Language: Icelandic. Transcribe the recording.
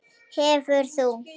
Hefur þú?